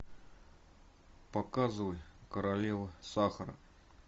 показывай королева сахара